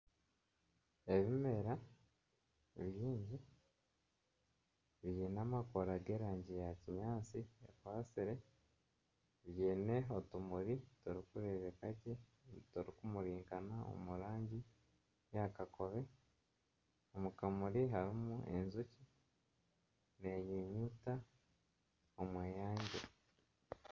Ebimera biine amababi g'erangi ya kinyaatsi ekwatsire biine otumuri turikureebeka gye oturi kumurinkana omurangi eya kakobe omu kamuri harimu enjoki nenyunyuta omw'eyangye